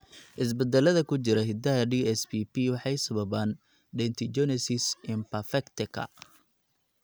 Isbeddellada ku jira hiddaha DSPP waxay sababaan dentinogenesis imperfectaka.